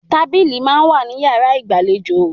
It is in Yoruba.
Tábílì máa ń wà ní yàrá ìgbàlejò